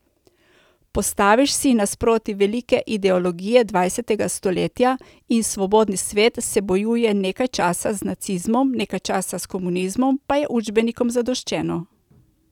Postaviš si nasproti velike ideologije dvajsetega stoletja in svobodni svet se bojuje nekaj časa z nacizmom, nekaj časa s komunizmom, pa je učbenikom zadoščeno.